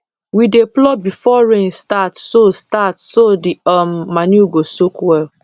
we dey plough before rain start so start so the um manure go soak well